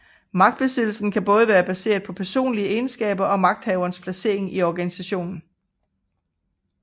Magtbesiddelsen kan både være baseret på personlige egenskaber og magthaverens placering i organisationen